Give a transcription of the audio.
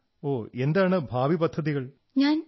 ഒഹ്ഹ് and what are your future plans